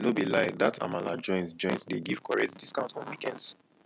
no be lie dat amala joint joint dey give correct discount on weekends